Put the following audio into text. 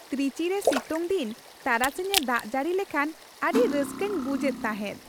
ᱛᱨᱤᱪᱤ ᱨᱮ ᱥᱤᱛᱩᱝᱫᱤᱱ ᱛᱟᱨᱟᱥᱤᱧᱮ ᱫᱟᱜ ᱡᱟᱹᱲᱤ ᱞᱮᱠᱷᱟᱱ ᱟᱹᱰᱤ ᱨᱟᱹᱥᱠᱟᱹᱧ ᱵᱩᱡᱷ ᱮᱫ ᱛᱟᱦᱮᱸᱫ ᱾